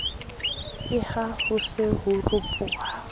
ke haho se ho ropoha